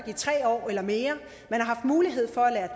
i tre år eller mere har haft mulighed for at lære